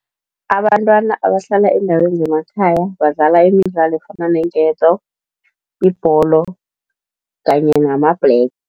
Abantwana abahlala eendaweni zemakhaya badlala imidlalo efana neenketo, ibholo kanye namabhlege.